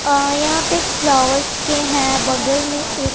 और यहां पे एक फ्लावर्स के हैं बगल में एक--